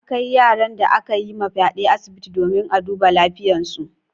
An kai yaran da aka yi wa fyaɗe asibiti domin a duba lafiyarsu.